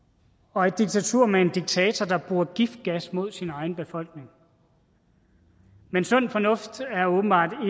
og et diktatur med en diktator der bruger giftgas mod sin egen befolkning men sund fornuft er åbenbart